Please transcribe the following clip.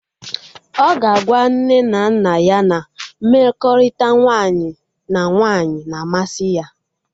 Ọ ga agwa nne na nna ya na mmekọrịta nwaanyị na nwaanyị na-amasị ya